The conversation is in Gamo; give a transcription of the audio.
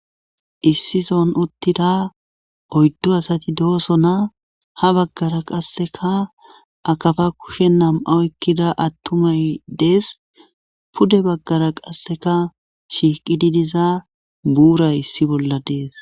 issi son uttida oyddu asati dooso naa ha baggara qasseka akafa kushen nam7a ekkida attumay dees pude baggara qasseka shiiqi didiza buuray issi bolla dees